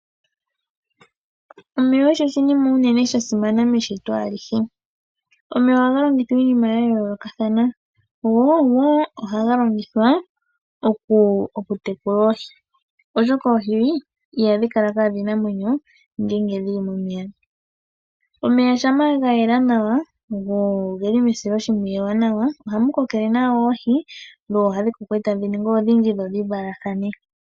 Omeya ogo oshinima sha simana meshito alihe. Omeya ohaga longithwa iinima ya yoolokathana go ohaga longithwa oku tekula oohi oshoka oohi ihadhi kala kadhina omwenyo ngele dhili momeya .Omeya shampa ga yela nawa go ogeli mesiloshimpwiyu ewanawa ohadhi koko etadhi valathana.